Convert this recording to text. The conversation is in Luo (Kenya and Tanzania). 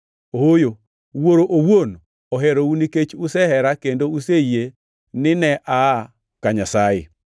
Ooyo, Wuoro owuon oherou nikech usehera kendo useyie ni ne aa ka Nyasaye.